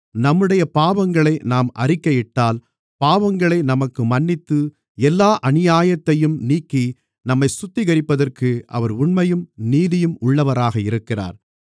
நம்முடைய பாவங்களை நாம் அறிக்கையிட்டால் பாவங்களை நமக்கு மன்னித்து எல்லா அநியாயத்தையும் நீக்கி நம்மைச் சுத்திகரிப்பதற்கு அவர் உண்மையும் நீதியும் உள்ளவராக இருக்கிறார்